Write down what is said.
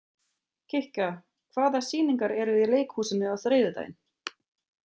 Kikka, hvaða sýningar eru í leikhúsinu á þriðjudaginn?